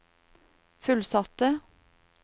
fullsatte